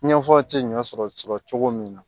Ɲɛfɔ ti ɲɔ sɔrɔ sɔrɔ cogo min na